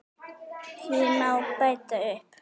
Því má bæta upp